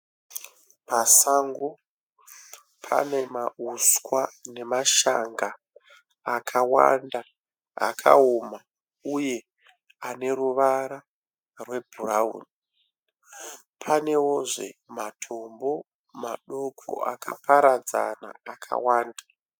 Pasango pane mauswa nemashanga akawanda akaoma uye ane ruvara rwebhurawuni. Panewozve matombo madoko akaparadzana akawanda.